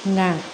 Na